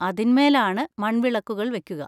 അതിന്മേലാണ് മൺവിളക്കുകൾ വെക്കുക.